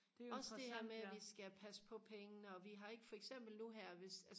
også det her med at vi skal passe på pengene og vi har ikke for eksempel nu her hvis